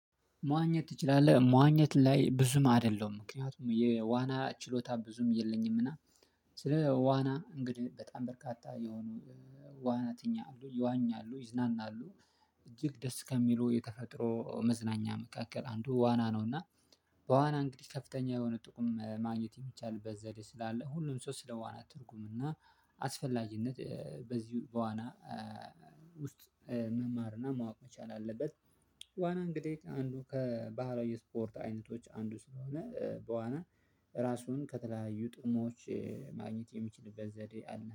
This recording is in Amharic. መዋኘት ትችላለህ መዋኘት ላይ ብዙም አይደለሁም ምክንያቱም የዋና ችሎታ ብዙም የለኝም እና ስለ ዋና እንግዲህ በጣም በርካታ የሆኑ ዋናተኛ ይዋኛሉ ይዝናናሉ እጅግ ደስ ከሚሉ የተፈጥሮ መዝናኛ መካከል አንዱ ዋና ነው። እና በዋና እንግዲህ ከፍተኛ የሆነ ጥቅም ማግኘት የሚቻልበት ዘዴ ስላለ ሁሉም ሰው ስለ ዋና ትርጉምና አስፈላጊነት በዚህ በዋና ውስጥ መማርና ማወቅ መቻል አለበት። ዋና እንግዲህ አንዱ ከባህላዊ የስፖርት አይነቶች አንዱ ስለሆነ በዋና ራሱን ከተለያዩ ጥሞች ማግኘት የሚችልበት ዘዴ አለ